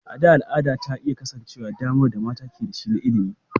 A da, al'ada ta iyakance damar da mata ke da shi na ilimi.